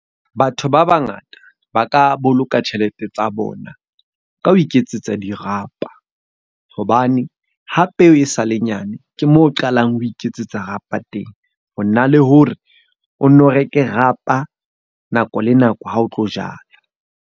Batho ba ba ngata ba ka boloka tjhelete tsa bona ka ho iketsetsa dirapa. Hobane ha peo e sale nyane, ke moo o qalang o iketsetsa rapa teng. Ho na le hore o nno reke rapa nako le nako ha o tlo jala.